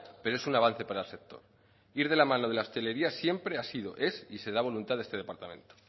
pero es un avance para el sector ir de la mano de la hostelería siempre ha sido es y será voluntad de este departamento